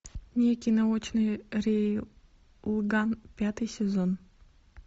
некий научный рейлган пятый сезон